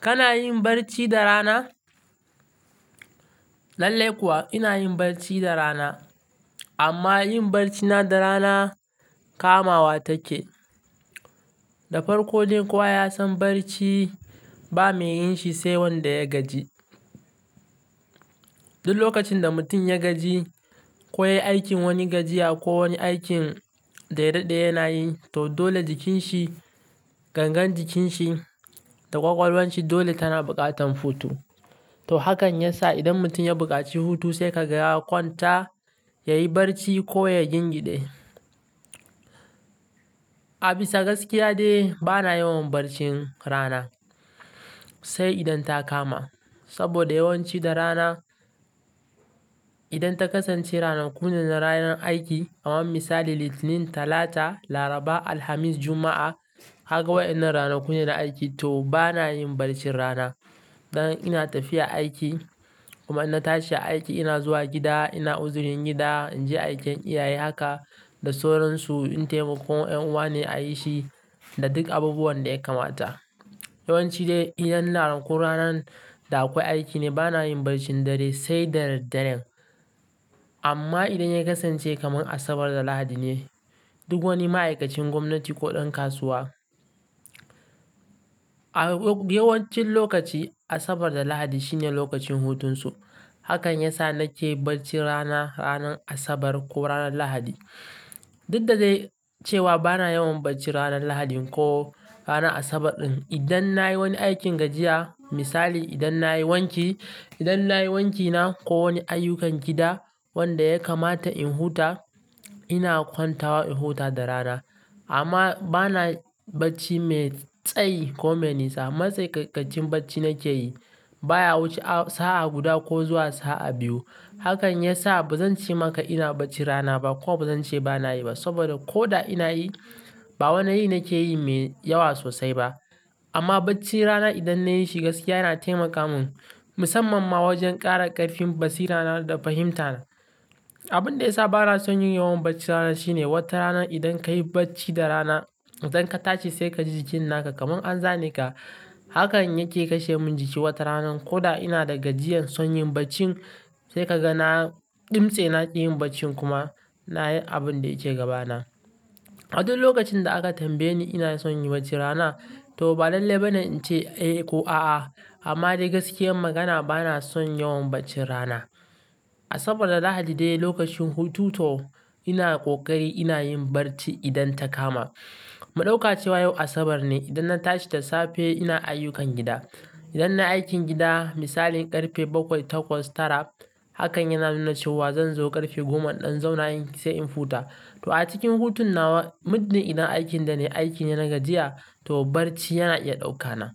Kana yin barci da rana? Lallai kuwa ina yin bacci da rana amma yin barcina da rana kamawa take. Da farko dai kowa, yasan barci ba mai yin shi sai wanda ya gaji. Duk lokacin da mutum ya gaji ko ya yi aikin wani gajiya ko wani aikin da ya daɗe yana yi, to dole jikin shi, gangan jikin shi da ƙwaƙwalwanshi dole tana buƙatan hutu. To hakan yasa idan mutum ya buƙaci hutu sai ka ga ya kwan ta yayi barci ko ya gingide. A bisa gaskiya dai bana yawan barcin rana sai idan ta kama. Saboda yawanci da rana, idan ta kasance ranakune na ranar aiki, kamar misali Litinin, Talata, Laraba, Alhamis, Juma'a, kaga waɗannan ranaku ne na aiki to bana yin barcin rana. Dan ina tafiya aiki kuma in na tashi aiki ina zuwa gida, ina uzurin gida, in je aiken iyaye haka da sauransu, in taimakon ƴan uwa ne a yi shi da duk abubuwan da ya kamata. Yawanci dai idan ranakun ranan da akwai aiki ne bana yin barcin dare sai da dad daren. Amma idan ya kasance kamar Asabar da Lahadi ne, duk wani ma'aikacin gwamnati ko ɗan kasuwa, yawancin lokaci Asabar da Lahadi shine lokacin hutunsu. Hakan yasa nake barcin rana, ranar Asabar ko ranar Lahadi. Duk da dai cewa bana yawan barci ranar Lahadin ko ranar Asabar ɗin. Idan na yi wani aikin gajiya, misali idan na yi wanki, idan na yi wankina ko wani ayyukan gida wanda ya kamata in huta ina kwanta wa in huta da rana. Amma bana bacci mai tsayi ko mai nisa. Matsai ƙai ƙaccin bacci nake yi baya wuce sa'a guda ko zuwa sa'a biyu. Hakan yasa bazan ce maka ina bacci rana ba kuma bazan ce bana yi ba. Saboda ko da ina yi, ba wani yi nake yi mai yawa sosai ba. Amma baccin rana idan nayi shi gaskiya yana taimaka mun, musamman ma wajen ƙara ƙarfin basira na da fahimta na. Abin da yasa bana son yin yawan bacci rana shine, wata rana idan kayi bacci da rana, idan ka tashi sai ka ji jikin naka kamar an zane ka. Hakan yake kashe mun jiki wata rana ko da ina da gajiyar son yin bacci, sai ka ga na ɗimse na ƙi yin baccin kuma nayi abun da yake gabana. A duk lokacin da aka tambaye ni ina son yin bacci rana to ba lallai bane in ce eh ko a'a. Amma dai gaskiyar magana bana son yawan baccin rana. Asabar da Lahadi dai lokacin hutu to ina ƙoƙari ina yin barci idan ta kama. Mu ɗauka cewa yau Asabar ne, idan na tashi da safe ina ayyukan gida. Idan nayi aikin gida misali ƙarfe bakwai, takwas, tara hakan yana nuna cewa zan zo ƙarfe goma in ɗan zauna yin sai in huta. To a cikin hutun nawa, muddin idan aikin da nayi aikine na gajiya to barci yana iya ɗaukana.